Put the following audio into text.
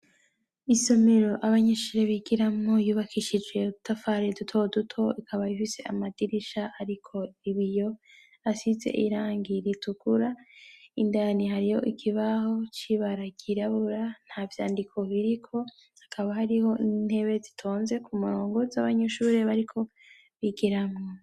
Isomero abanyeshure bigiramo yubakishije udutafari dutoduto, ikaba ifise amadirisha ariko ibiyo asize irangi ritukura indani hariyo ikibaho c'ibara ry'irabura nta vyandiko biriko hakaba hariho intebe zitonze ku murongo z'abanyeshure bariko bigiramwo.